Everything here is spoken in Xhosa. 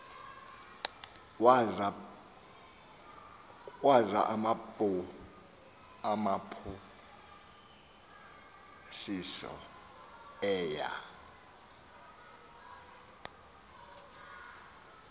waza waphosisa eya